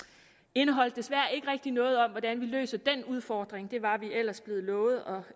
indeholdt desværre ikke rigtig noget om hvordan vi løser den udfordring det var vi ellers blevet lovet og